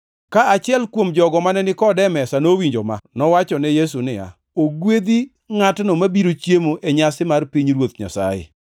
Ka achiel kuom jogo mane ni kode e mesa nowinjo ma, nowachone Yesu niya, “Ogwedhi ngʼatno mabiro chiemo e nyasi mar pinyruoth Nyasaye.”